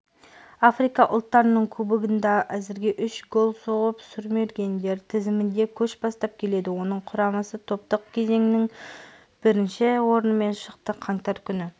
африка ұлттарының кубогында әзірге үш гол соғып сұрмергендер тізімінде көш бастап келеді оның құрамасы топтық кезеңнен бірінші орынмен шықты қаңтар күні